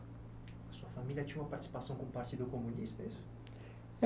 A sua família tinha uma participação com o partido comunista, é isso?